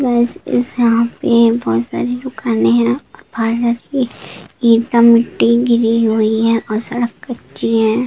यहां पर बहुत सारी दुकाने है मिट्टी गिरी हुई है और सड़क कच्ची है।